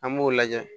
An b'o lajɛ